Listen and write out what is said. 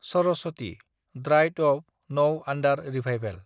Saraswati (dried up, नव आन्डार revival)